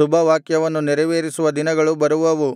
ಶುಭವಾಕ್ಯವನ್ನು ನೆರವೇರಿಸುವ ದಿನಗಳು ಬರುವವು